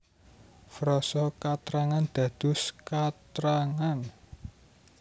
Frasa katrangan dados katrangan